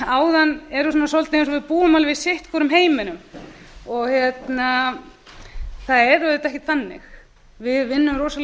áðan eru svona svolítið eins og við búum alveg í sitt hvorum heiminum það er auðvitað ekkert þannig við vinnum rosalega